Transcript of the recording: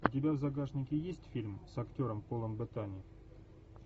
у тебя в загашнике есть фильм с актером полом беттани